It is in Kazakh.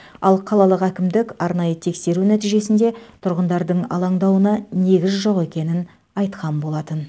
ал қалалық әкімдік арнайы тексеру нәтижесінде тұрғындардың алаңдауына негіз жоқ екенін айтқан болатын